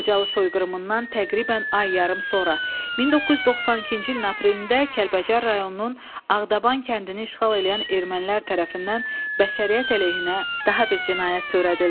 Xocalı soyqırımından təqribən ay yarım sonra, 1992-ci ilin aprelində Kəlbəcər rayonunun Ağdaban kəndini işğal eləyən ermənilər tərəfindən bəşəriyyət əleyhinə daha bir cinayət törədildi.